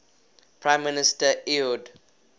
prime minister ehud